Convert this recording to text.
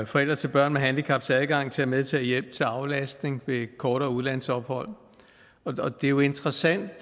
forældre til børn med handicaps adgang til at medtage hjælp til aflastning ved kortere udlandsophold det er jo interessant